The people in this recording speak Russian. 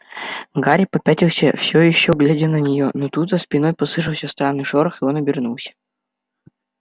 гарри попятился всё ещё глядя на неё но тут за спиной послышался странный шорох и он обернулся